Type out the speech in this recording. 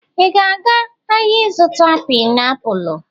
ị ga-aga ahịa ịzụta painiapulu?